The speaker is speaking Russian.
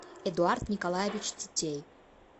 эдуард николаевич тетей